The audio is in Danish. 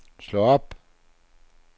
slå op